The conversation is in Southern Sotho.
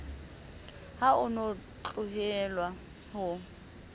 ha o no tlohelwa ho